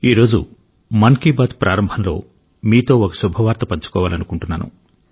ఈ రోజు మన్ కీ బాత్ ప్రారంభంలో మీతో ఒక శుభవార్త పంచుకోవాలనుకుంటున్నాను